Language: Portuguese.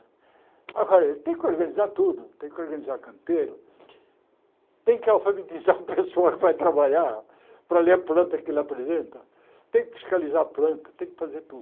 Agora, ele tem que organizar tudo, tem que organizar canteiro, tem que alfabetizar o pessoal que vai trabalhar para ler a planta que ele apresenta, tem que fiscalizar a planta, tem que fazer tudo.